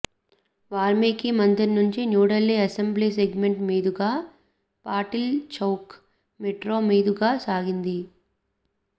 వాల్మీకి మందిర్ నుంచి New Delhi assembly segment మీదుగా Patil Chowk metro మీదుగా సాగింది